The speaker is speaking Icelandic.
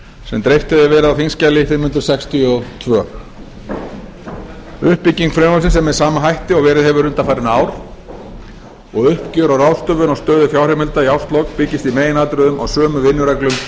sem dreift hefur verið á þingskjali fimm hundruð sextíu og tvö uppbygging frumvarpsins er með sama hætti og verið hefur undanfarin ár og uppgjör og ráðstöfun á stöðu fjárheimilda í árslok byggist í meginatriðum á sömu vinnureglum